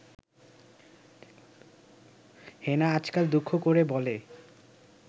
হেনা আজকাল দুঃখ করে বলে